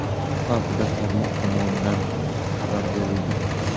Bu haqda tarmoq tomonidan xabar berildi .